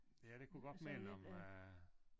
Ja det kunne godt minde om øh